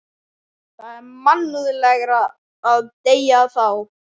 Það er mannúðlegra að deyða þá.